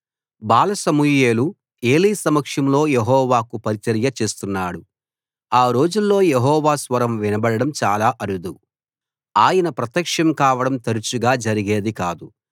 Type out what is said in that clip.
బాల సమూయేలు ఏలీ సమక్షంలో యెహోవాకు పరిచర్య చేస్తున్నాడు ఆ రోజుల్లో యెహోవా స్వరం వినబడడం చాలా అరుదు ఆయన ప్రత్యక్షం కావడం తరుచుగా జరిగేది కాదు